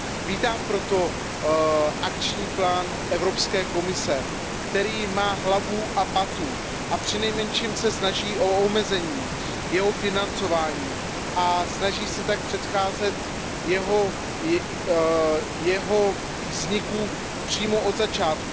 Vítám proto akční plán Evropské komise, který má hlavu a patu a přinejmenším se snaží o omezení jeho financování a snaží se tak předcházet jeho vzniku přímo od začátku.